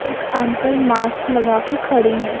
एक uncle mask लगाके खड़ी है।